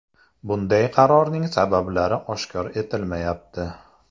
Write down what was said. Bunday qarorning sabablari oshkor etilmayapti.